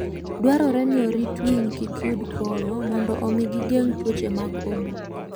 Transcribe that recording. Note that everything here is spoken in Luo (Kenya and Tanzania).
Dwarore ni orit winy kik yud koyo mondo omi gigeng' tuoche mag obo.